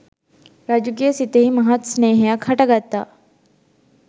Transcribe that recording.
රජුගේ සිතෙහි මහත් ස්නේහයක් හටගත්තා